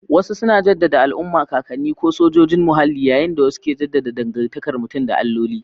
Wasu suna jaddada al'umma, kakanni, ko sojojin muhalli, yayin da wasu ke jaddada dangantakar mutum da alloli.